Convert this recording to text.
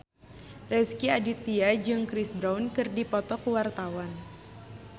Rezky Aditya jeung Chris Brown keur dipoto ku wartawan